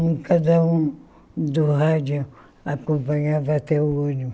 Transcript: Um cada um do rádio acompanhava até o ônibus.